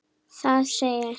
Það segir